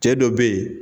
Cɛ dɔ be yen